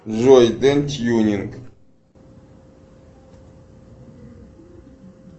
джой ден тюнинг